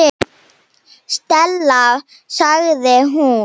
Stella sagði hún.